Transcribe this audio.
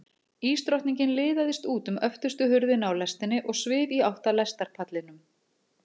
Ísdrottningin liðaðist út um öftustu hurðina á lestinni og svif í átt að lestarpallinum.